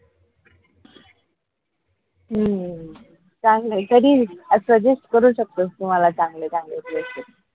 हम्म चांगलंय कधी अस suggest करू शकतोस तू मला चांगले चांगले places